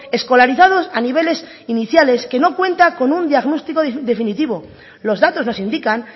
escolarizados a niveles iniciales que no cuenta con un diagnóstico definitivo los datos nos indican